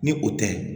Ni o tɛ